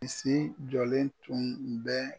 bisi jɔlen tun bɛ